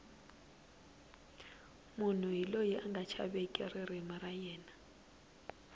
munhu hi loyi anga chaveki ririmi ra yena